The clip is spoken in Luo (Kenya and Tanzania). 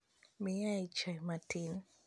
Miyae chai matin.